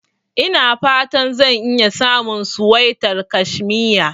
Ina fata zan iya samun suwaitar kashmiya.